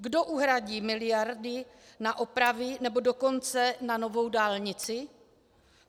Kdo uhradí miliardy na opravy, nebo dokonce na novou dálnici?